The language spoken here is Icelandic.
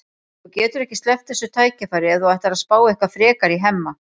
Þú getur ekki sleppt þessu tækifæri ef þú ætlar að spá eitthvað frekar í Hemma.